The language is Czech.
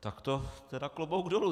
Tak to tedy klobouk dolů.